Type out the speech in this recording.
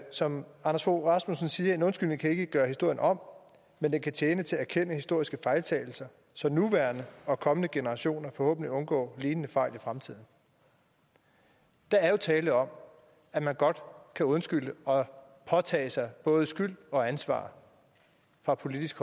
som anders fogh rasmussen siger en undskyldning kan ikke gøre historien om men den kan tjene til at erkende historiske fejltagelser så nuværende og kommende generationer forhåbentlig undgår lignende fejl i fremtiden der er jo tale om at man godt kan undskylde og påtage sig både skyld og ansvar fra politisk